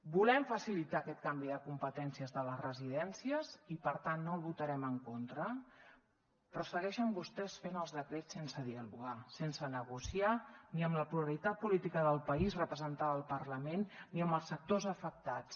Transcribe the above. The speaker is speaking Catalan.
volem facilitar aquest canvi de competències de les residències i per tant no hi votarem en contra però segueixen vostès fent els decrets sense dialogar sense negociar ni amb la pluralitat política del país representada al parlament ni amb els sectors afectats